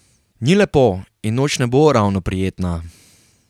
Ni lepo in noč ne bo ravno prijetna.